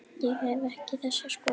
Ég hef ekki þessa skoðun.